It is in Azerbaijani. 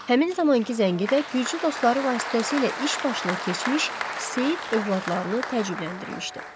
Həmin zamankı zəngi də gürcü dostları vasitəsilə iş başına keçmiş Seyid övladlarını təcrübələndirmişdi.